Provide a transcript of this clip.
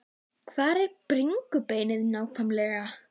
Hvar er bringubeinið nákvæmlega?